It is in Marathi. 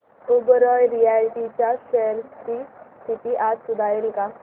ओबेरॉय रियाल्टी च्या शेअर्स ची स्थिती आज सुधारेल का